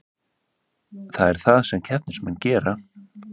Það er það sem keppnismenn gera